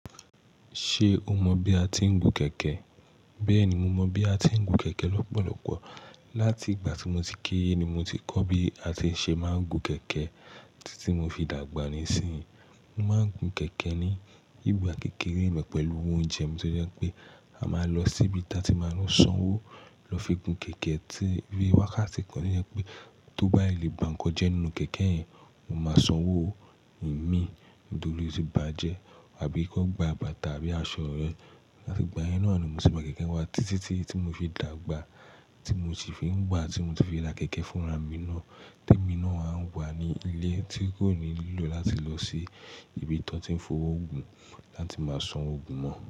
Ṣé o mọ bí a tí ń gun kẹ̀kẹ́? Bẹ́ẹ̀ni, mo mọ bí a tí ń gun kẹ̀kẹ́ lọ́pọ̀lọpọ̀. Láti ìgbà tí mo ti kéré ni mo ti kọ́ bí a ti ń ṣe máa ń gun kẹ̀kẹ́ títí tí mo fi dàgbà níìsín. Mo máa ń gun kẹ̀kẹ́ ní ìgbà kékeré lọ pẹ̀lú owó oúnjẹ mi tí ó jẹ́ pé a máa lọ sí ibi tí a ti máa ń sanwó lọ fi gun kẹ̀kẹ́ tí bí wákàtí kan tó jẹ́ pé tó bá le bá nǹkan jẹ nínú kẹ̀kẹ́ yẹn, mo máa sanwó mi nítorí ó ti bàjẹ́ àbí kò gba bàtà àbí aṣọ rẹ. Láti ìgbà yẹn náà ni mo ti máa gun kẹ̀kẹ́ wá títí tí tí mo fi dàgbà tí mo ti fi ń wá tí mo ti fi ra kẹ̀kẹ́ fún ara mi náà tí èmi náà ń wà ní ilé tí kò ní lílò láti lọ sí ibi tí wọ́n ti ń fowó gun láti máa san owó gun mọ́.